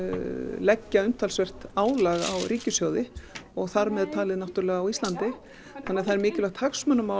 leggja umtalsvert álag á ríkissjóði og þar með talið á Íslandi þannig að það er mikilvægt hagsmunamál